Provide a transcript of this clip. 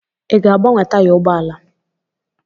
Ị ga-agbanwe taya ụgbọ ala?